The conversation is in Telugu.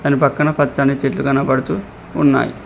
అటు పక్కన పచ్చని చెట్లు కనపడుతూ ఉన్నాయ్.